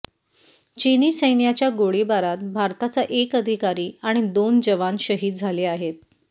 चिनी सैन्याच्या गोळीबारात भारताचा एक अधिकारी आणि दोन जवान शहीद झाले आहेत